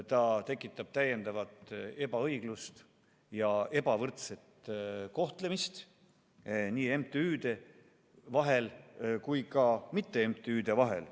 See tekitaks täiendavat ebaõiglust ja ebavõrdset kohtlemist nii MTÜ-de vahel kui ka mitte-MTÜ-de vahel.